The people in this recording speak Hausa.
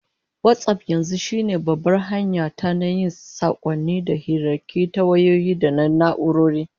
WhatsApp yanzu shine babbar hanya ta na yin sakonni da hirarraki ta wayoyi da na'urori